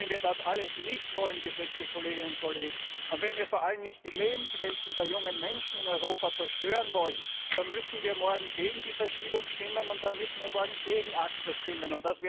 Und wenn wir das alles nicht wollen, geschätzte Kolleginnen und Kollegen, und wenn wir vor allem nicht die Lebenswelten der jungen Menschen in Europa zerstören wollen, dann müssen wir morgen gegen die Verschiebung stimmen und dann müssen wir morgen gegen ACTA stimmen.